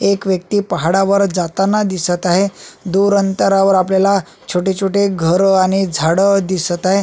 एक व्यक्ती पहाडावर जाताना दिसत आहे दूर अंतरावर आपल्याला छोटे छोटे घर आणि झाड दिसत आहे.